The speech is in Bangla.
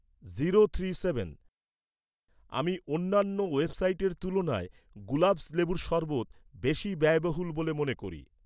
আমি অন্যান্য ওয়েবসাইটের তুলনায়, গুলাবস্ লেবুর শরবৎ বেশি ব্যয়বহুল বলে মনে করি